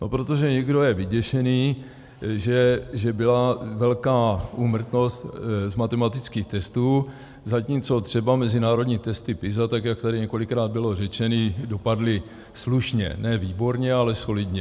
No protože někdo je vyděšený, že byla velká úmrtnost z matematických testů, zatímco třeba mezinárodní testy PISA, tak jak tady několikrát bylo řečeno, dopadly slušně - ne výborně, ale solidně.